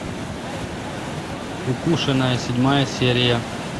укушенная седьмая серия